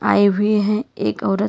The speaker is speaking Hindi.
आई भी हैं एक औरत।